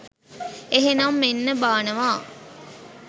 එහෙනම් මෙන්න බානවා.